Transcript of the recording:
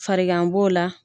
Fargan b'o la.